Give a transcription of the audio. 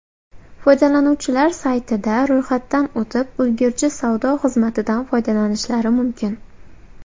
Foydalanuvchilar saytida ro‘yxatdan o‘tib, ulgurji savdo xizmatidan foydalanishlari mumkin.